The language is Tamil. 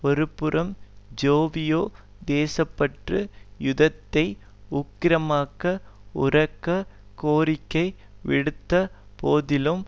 ஒரு புறம் ஜேவிபி தேச பற்று யுத்தத்தை உக்கிரமாக்க உரக்க கோரிக்கை விடுத்த போதிலும்